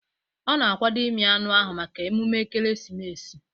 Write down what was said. Ọ na-akwado ịmị anụ ahụ maka emume ekeresimesi